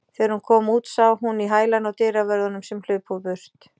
Þegar hún kom út sá hún í hælana á dyravörðunum sem hlupu burt.